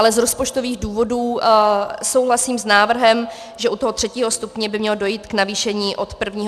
Ale z rozpočtových důvodů souhlasím s návrhem, že u toho III. stupně by mělo dojít k navýšení od 1. července.